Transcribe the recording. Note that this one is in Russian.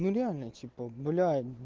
ну реально типо бля